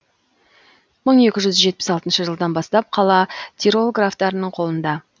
мың екі жүз жетпіс алтыншы жылдан бастап қала тирол графтарының қолында